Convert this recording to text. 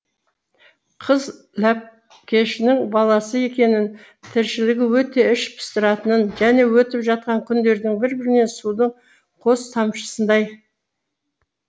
қыз ләпкешінің баласы екенін тіршілігі өте іш пыстыратынын және өтіп жатқан күндердің бір бірінен судың қос тамшысындай